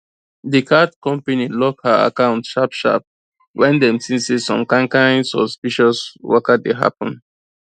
the card company lock her account sharp sharp when dem see say some kain kain suspicious waka dey happen